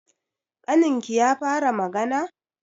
Ƙaninki ya fara magana?